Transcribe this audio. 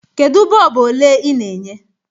Kedu bọlbụ ole ị na-enye?